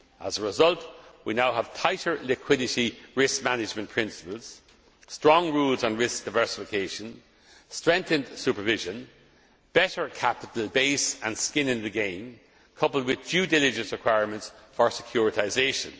As a result, we now have tighter liquidity risk management principles, strong rules on risk diversification, strengthened supervision, a better capital base, and skin in the game, coupled with due diligence requirements for securitisation.